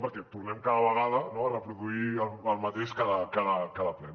perquè tornem cada vegada a reproduir el mateix cada ple